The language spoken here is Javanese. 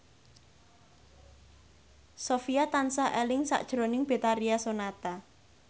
Sofyan tansah eling sakjroning Betharia Sonata